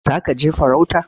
Za ka je farauta?